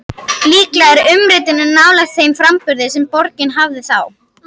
Líklega er umritunin nálægt þeim framburði sem borgin hafði þá.